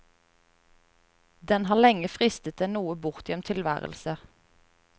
Den har lenge fristet en noe bortgjemt tilværelse.